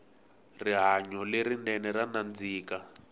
rihanyo le rinene ra nandzika